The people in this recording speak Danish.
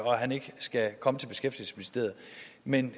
og at han ikke skal komme til beskæftigelsesministeriet men